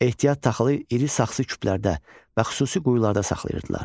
Ehtiyat taxılı iri saxsı küplərdə və xüsusi quyularda saxlayırdılar.